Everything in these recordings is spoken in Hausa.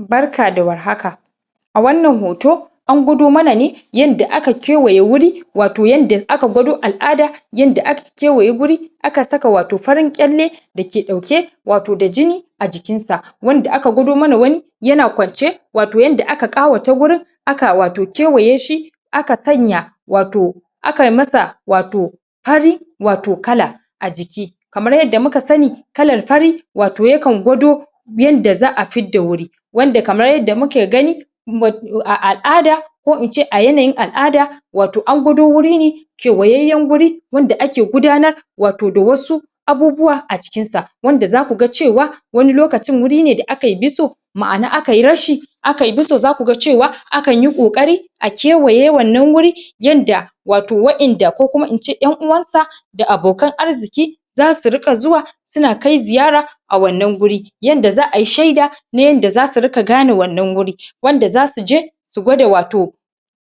Barka da war haka a wannan hoto an gwado mana ne yanda aka kewaye wuri wato yanda aka gwado al'ada yanda aka kewaye wuri aka saka wato farin kyalle dake ɗauke wato da jini a jikin sa wanda aka gwado mana wani yana kwance wato yanda aka ƙawata wurin aka wato kewaye shi aka sanya wato aka yi masa wato fari wato kala a jiki kamar yadda muka sani kalar fari wato ya kan gwado yanda za a fidda wuri wanda kamar yadda muke gani mut...a al'ada ko ince yanayin al'ada wato an gwado wuri ne kewayayyen wuri wanda ake gudanar wato da wasu abubuwa a cikin sa wanda za ku ga cewa wani lokacin wuri ne da akai biso ma'na akai rashi akai biso za ku ga cewa akan yi ƙoƙari a kewaye wannan wuri yanda wato waƴanda ko kuma ince ƴan uwansa da abokan arziki za su rika zuwa su na kai ziyara a wannan wuri yanda za a yi shaida na yanda za su rika gane wannan wuri wanda za su je su gwada wato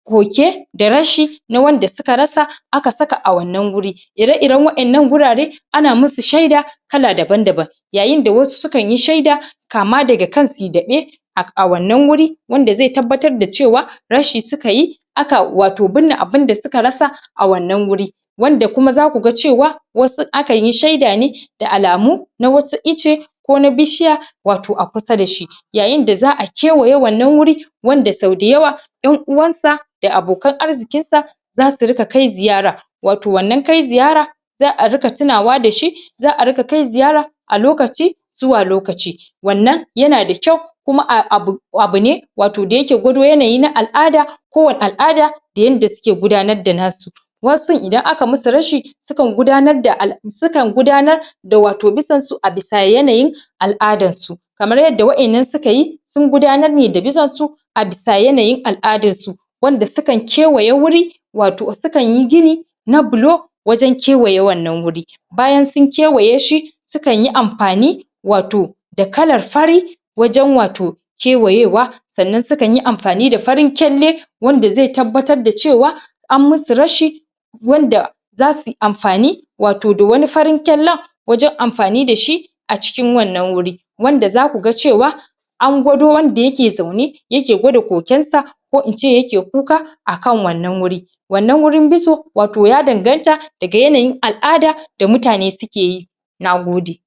koke da rashi na wanda suka rasa aka saka a wannan wuri ire-iren waƴannan wurare ana musu shaida kala daban-daban yayin da wasu su kan yi shaida kama daga kan su yi daɓe a wannan wuri wanda zai tabbatar da cewa rashi su ka yi aka wato binne abin da suka rasa a wannan wuri wanda kuma za ku ga cewa wasu akan yi shaida ne da alamu na wasu icce ko na bishiya wato a kusa da shi yayin da za a kewaye wannan wuri wanda sau dayawa ƴan uwansa da abokan arzikinsa za su rika kai ziyara wato wannan kai ziyara za a rika tunawa da shi za a rika kai ziyara a lokaci zuwa lokaci wannan yana da kyau kuma a abu abu ne wato da yake gwado yanayi na al'ada kowane al'ada da yanda suke gudanar da nasu wasun idan aka yi musu rashi su kan gudanar da al'a.... su kan gudanar da wato bisonsu a bisa yanayin al'adarsu kamar yadda waƴannan sua yi sun gudanar ne da bisonsu a bisa yanayin al'adarsu wanda su kan kewaye wuri wato su kan yi gini na bulo wajen kewaye wannan wuri bayan su kewaye shi su kan yi amfani wato da kalar fari wajen wato kewaye wa sannan su kan yi amfani da farin kyalle wanda ze tabbatar da cewa an musu rashi wanda za su yi amfani wato da wani farin kyallen wajen amfani da shi a cikin wannan wuri wanda za ku ga cewa an gwado wanda yake zaune yake gwada kokensa ko ince yake kuka akan wannan wuri wannan wurin biso wato ya danganta daga yanayin al'ada da mutane suke yi